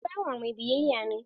Shi bawa mai biyayya ne.